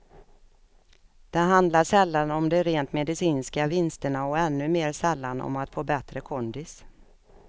Det handlar sällan om de rent medicinska vinsterna och ännu mer sällan om att få bättre kondis.